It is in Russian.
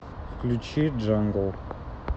включи джангл